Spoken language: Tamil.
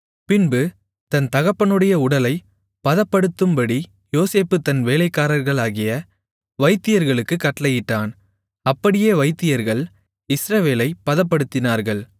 பின்பு தன் தகப்பனுடைய உடலைப் பதப்படுத்தும்படி யோசேப்பு தன் வேலைக்காரர்களாகிய வைத்தியர்களுக்குக் கட்டளையிட்டான் அப்படியே வைத்தியர்கள் இஸ்ரவேலைப் பதப்படுத்தினார்கள்